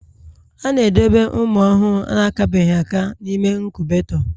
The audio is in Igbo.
A na-edobe ụmụ ọhụrụ akabeghị aka n'ime inkubetoo